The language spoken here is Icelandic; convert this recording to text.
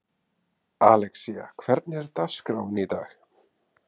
Alexía, hvernig er dagskráin í dag?